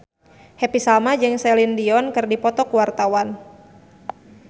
Happy Salma jeung Celine Dion keur dipoto ku wartawan